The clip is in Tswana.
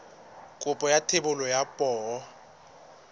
kopo ya thebolo ya poo